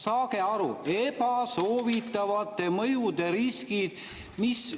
Saage aru, ebasoovitavate mõjude riskid!